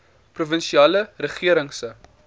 provinsiale regering se